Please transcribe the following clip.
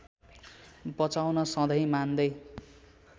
बचाउन सधैँ मान्दै